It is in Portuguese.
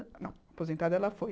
Não, aposentada ela foi.